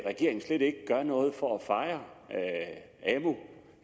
regeringen slet ikke noget for at fejre